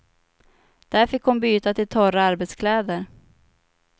Där fick hon byta till torra arbetskläder.